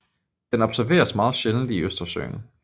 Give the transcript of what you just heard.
Den observeres meget sjældent i Østersøen